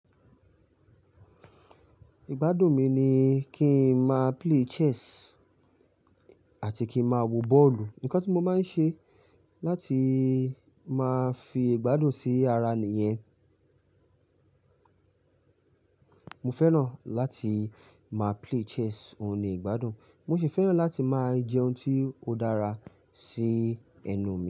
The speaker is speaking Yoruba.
Ìgbádùn mi ni kí n máa play chess àti kí máa wo bọ́ọ̀lù. Ǹkan tí mo máa ń ṣe láti máa fi ìgbádùn sí ara ni yẹn. Mo fẹ́ràn láti máa play chess, òun ni ìgbádùn. Mo ṣì fẹ́ràn láti máa jẹ ohun tí ó dára sí ẹnu mi.